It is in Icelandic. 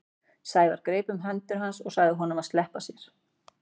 Sævar greip um hendur hans og sagði honum að sleppa sér.